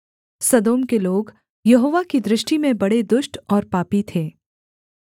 सदोम के लोग यहोवा की दृष्टि में बड़े दुष्ट और पापी थे